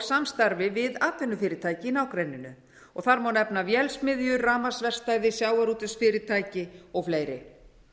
samstarfi við atvinnufyrirtæki í nágrenninu þar má nefna vélsmiðjur rafmagnsverkstæði sjávarútvegsfyrirtæki og fleiri